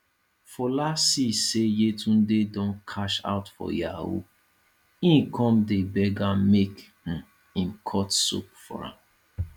fola see say yetunde don cash out for yahoo e come dey beg am make um im cut soap for am